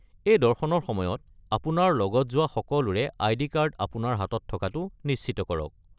এই দৰ্শনৰ সময়ত আপোনাৰ লগত যোৱা সকলোৰে আইডি কাৰ্ড আপোনাৰ হাতত থকাটো নিশ্চিত কৰক।